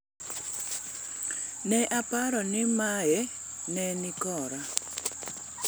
"Ne aparo ni mae ne ni kora